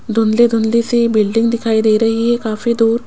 धुंधले-धुंधले से बिल्डिंग दिखाई दे रही है काफी दूर --